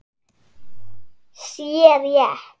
sé rétt.